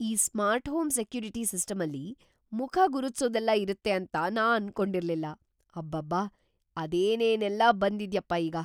ಈ smart home security ಸಿಸ್ಟಮ್ಮಲ್ಲಿ ಮುಖ ಗುರುತ್ಸೋದೆಲ್ಲ ಇರತ್ತೆ ಅಂತ ನಾನ್ ಅನ್ಕೊಂಡಿರ್ಲಿಲ್ಲ, ಅಬ್ಬಬ್ಬಾ! ಅದೇನೇನೆಲ್ಲ ಬಂದಿದ್ಯಪ್ಪ ಈಗ!